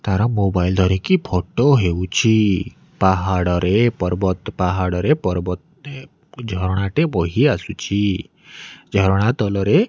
ତାର ମୋବାଇଲ୍ ଧରିକି ଫୋଟୋ ହେଉଛି ପାହାଡ଼ରେ ପର୍ବତ ପାହାଡ଼ରେ ପର୍ବତ ଟେ ଝରଣା ଟେ ବୋହି ଆସୁଛି ଝରଣା ତଲ ରେ।